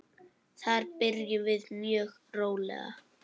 Þar byrjum við mjög rólega.